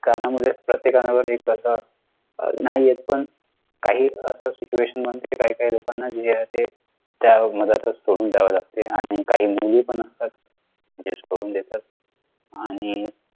कारणामुळेच प्रत्येकावर एक प्रसंग नाही येत पण काही असं situation असते कि काहीकाही लोकांना जे आहे ते मध्यातच सोडून जावे लागते आणि काही MOODY पण असतात जे सोडून देतात आणि